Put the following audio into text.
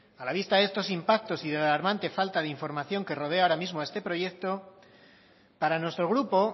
a la vista de estos impactos y de la alarmante falta de información que rodea ahora mismo a este proyecto para nuestro grupo